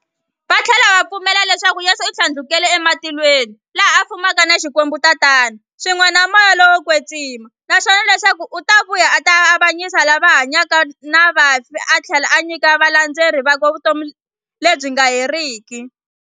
Vathlela va pfumela leswaku Yesu u thlandlukele e matilweni, laha a fumaka na Xikwembu Tatana, swin'we na Moya lowo kwetsima, naswona leswaku u ta vuya a ta avanyisa lava hanyaka na vafi athlela a nyika valandzeri vakwe vutomi lebyi nga heriki.